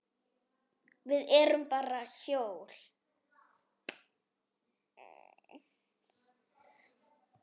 Við erum bara hjól.